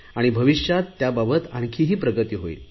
भविष्यात त्याबाबत आणखी प्रगती होईल